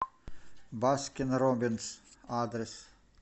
баскин роббинс адрес